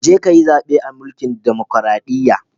Je ka ka yi zaɓe a mlkin dumukuradiyya.